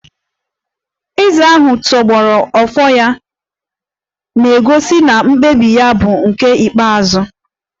Eze ahụ tọgbọrọ Ofo ya na-egosi na mkpebi ya bụ nke ikpeazụ